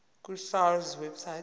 ku sars website